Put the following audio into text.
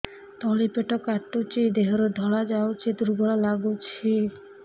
ତଳି ପେଟ କାଟୁଚି ଦେହରୁ ଧଳା ଯାଉଛି ଦୁର୍ବଳ ଲାଗୁଛି